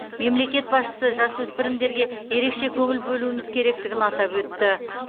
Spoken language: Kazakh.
мемлекет басшысы жасөспірімдерге ерекше көңіл бөлуіміз керектігін атап өтті